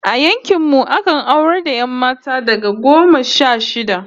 A yankin mu akan aurar da 'yan mata daga shekara goma sha shida